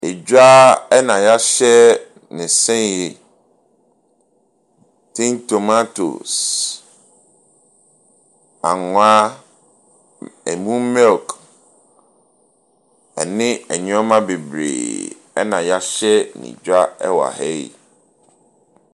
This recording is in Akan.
Dwa na wɔahyɛ no sei. Tin tomatoes, anwa, ɛmu milk, ne nneɛma bebree na wɔahyɛ no dwa wɔ ha yi.